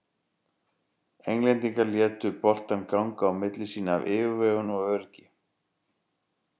Englendingar létu boltann ganga á milli sín af yfirvegun og öryggi.